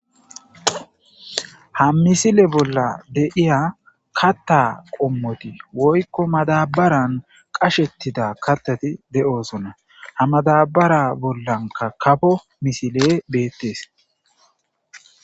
ha misile bolla deyiya katta qommoti woykko madabaran qashettida katati de7osona ha madabara bollanka kafo misile beettees